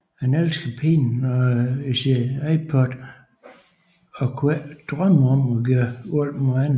Han elsker smerte og sin iPod og kunne ikke drømme om at gøre vold mod andre